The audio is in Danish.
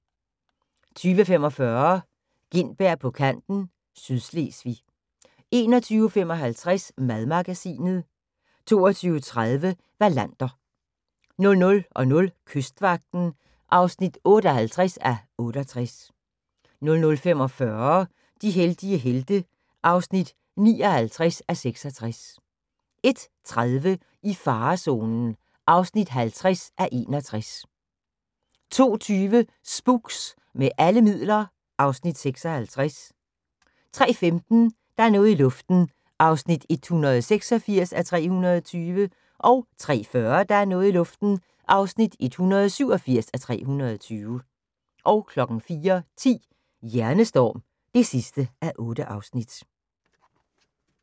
20:45: Gintberg på kanten - Sydslesvig 21:55: Madmagasinet 22:30: Wallander 00:00: Kystvagten (58:68) 00:45: De heldige helte (59:66) 01:30: I farezonen (50:61) 02:20: Spooks: Med alle midler (Afs. 56) 03:15: Der er noget i luften (186:320) 03:40: Der er noget i luften (187:320) 04:10: Hjernestorm (8:8)